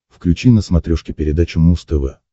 включи на смотрешке передачу муз тв